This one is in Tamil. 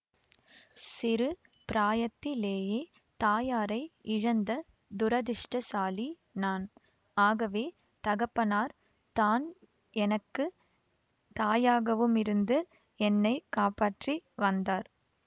சிறு பிராயத்திலேயே தாயாரை இழந்த துரதிர்ஷ்டசாலி நான் ஆகவே தகப்பனார் தான் எனக்கு தாயாகவுமிருந்து என்னை காப்பாற்றி வந்தார்